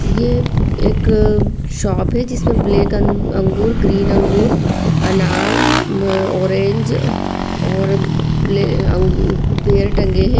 ये एक शॉप है जिसमे ब्लैक अंगूर ग्रीन अंगूर अनार अ ऑरेंज और बे अं बेर टंगे है।